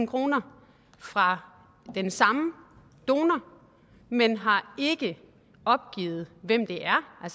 kroner fra den samme donor men har ikke opgivet hvem det